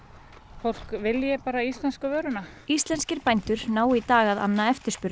fólk vilji bara íslensku vöruna íslenskir bændur ná í dag að anna eftirspurn